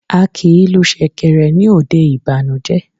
A kìí lu sèkèrè ní òde ìbànújé